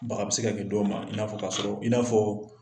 Baga be se ka kɛ dɔ ma i n'a fɔ k'a sɔrɔ i n'a fɔɔ